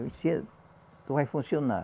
vai funcionar.